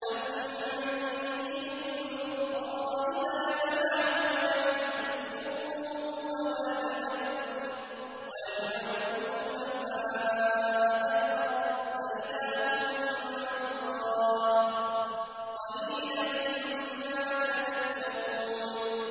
أَمَّن يُجِيبُ الْمُضْطَرَّ إِذَا دَعَاهُ وَيَكْشِفُ السُّوءَ وَيَجْعَلُكُمْ خُلَفَاءَ الْأَرْضِ ۗ أَإِلَٰهٌ مَّعَ اللَّهِ ۚ قَلِيلًا مَّا تَذَكَّرُونَ